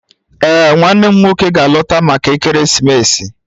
Ee, nwannem nwoke ga-alọta maka ekeresimesi